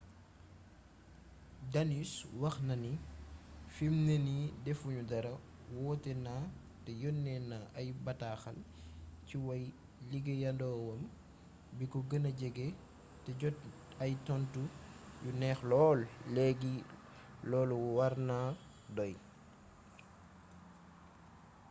danius wax na ni fimne nii defu ñu dara woote na te yónnee naa ay m-bataaxal ci way-liggéeyandoowam biko gëna jege te jot ay tontu yu neex lool léegi loolu war naa doy